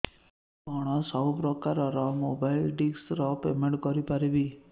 ମୁ କଣ ସବୁ ପ୍ରକାର ର ମୋବାଇଲ୍ ଡିସ୍ ର ପେମେଣ୍ଟ କରି ପାରିବି